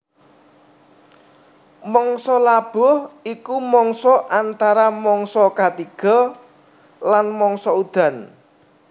Mangsa labuh iku mangsa antara mangsa katiga lan mangsa udan